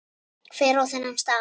Hver á þennan staf?